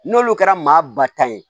N'olu kɛra maa ba ta ye